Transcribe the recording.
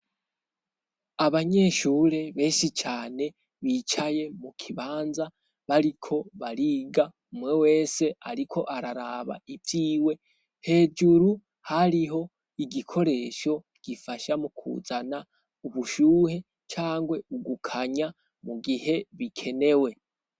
Abanyeshure benshi cane bicaye mu kibanza, bariko bariga umwe wese ariko araraba ivyiwe hejuru hariho igikoresho gifasha mu kuzana ubushuhe cangwe ugukanya mu gihe bikenewe.